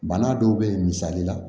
Bana dɔw be ye misali la